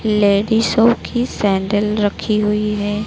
Ladies सब की sandal रखी हुई है।